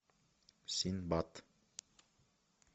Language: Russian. синдбад